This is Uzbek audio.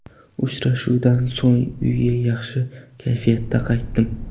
Uchrashuvdan so‘ng, uyga yaxshi kayfiyatda qaytdim.